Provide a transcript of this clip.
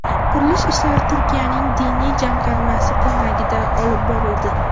Qurilish ishlari Turkiyaning Diniy jamg‘armasi ko‘magida olib borildi.